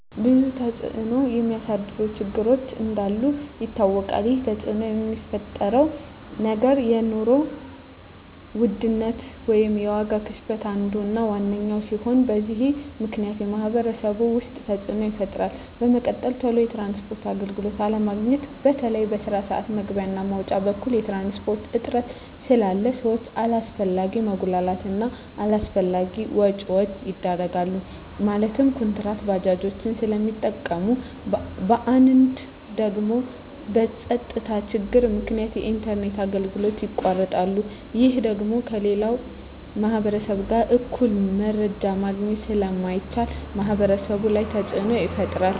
ብዙ ተፅዕኖ የሚያሳድሩ ችግሮች እንዳሉ ይታወቃል ይህ ተፅዕኖ የሚፈጥረው ነገር የኑሮ ውድነት ወይም የዋጋ ግሽበት አንዱ እና ዋነኛው ሲሆን በዚህ ምክንያት በማህበረሰቡ ውስጥ ተፅዕኖ ይፈጥራል በመቀጠል ቶሎ የትራንስፖርት አገልግሎት አለማግኘት በተለይ በስራ ስዓት መግቢያ እና መውጫ በኩል የትራንስፖርት እጥረት ስላለ ሰዎች አላስፈላጊ መጉላላት እና አላስፈላጊ ወጪዎች ይዳረጋሉ ማለትም ኩንትራት ባጃጆችን ስለሚጠቀሙ በአንዳንድ ደግሞ በፀጥታ ችግር ምክንያት የኢንተርኔት አገልግሎቶች ይቋረጣሉ ይህ ደግሞ ከሌላው ማህበረሰብ ጋር እኩል መረጃ ማግኘት ስለማይቻል ማህበረሰቡ ላይ ተፅዕኖ ይፈጥራል